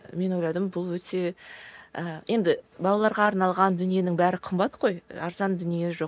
мен ойладым бұл өте ы енді балаларға арналған дүниенің бәрі қымбат қой арзан дүние жоқ